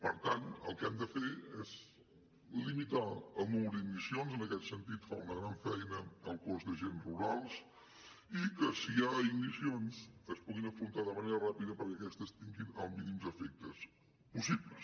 per tant el que hem de fer és limitar el nombre d’ignicions en aquest sentit fa una gran feina el cos d’agents rurals i que si hi ha ignicions es puguin afrontar de manera ràpida perquè aquestes tinguin els mínims efectes possibles